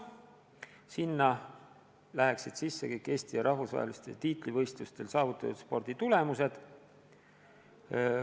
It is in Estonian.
Sinna läheksid sisse kõik Eesti ja rahvusvaheliste tiitlivõitlustel saavutatud sporditulemused.